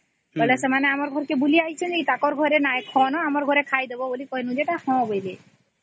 ସେ ଆମ ଘର ବୁଲି ଆସିଥିଲେ ତ ଖାଇବାକୁ କହିଲୁ ସେ ହଁ କହିଲେ